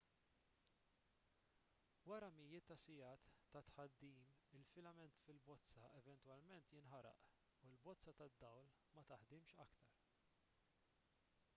wara mijiet ta' sigħat ta' tħaddim il-filament fil-bozza eventwalment jinħaraq u l-bozza tad-dawl ma taħdimx aktar